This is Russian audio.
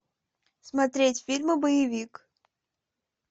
смотреть фильмы боевик